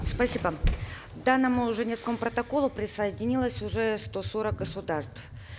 спасибо к данному женевскому протоколу присоединилось уже сто сорок государств